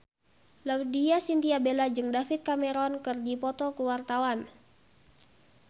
Laudya Chintya Bella jeung David Cameron keur dipoto ku wartawan